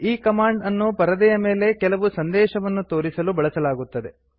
ಈ ಕಮಾಂಡ್ ಅನ್ನು ಪರದೆಯ ಮೇಲೆ ಕೆಲವು ಸಂದೇಶವನ್ನು ತೋರಿಸಲು ಬಳಸಲಾಗುತ್ತದೆ